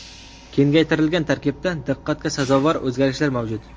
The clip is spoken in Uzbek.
Kengaytirilgan tarkibda diqqatga sazovor o‘zgarishlar mavjud.